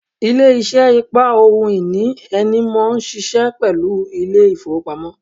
Ilé isé ìpa ohun ìní ẹni mó n síse pẹ̀lú Ilé-ìfowópamọ́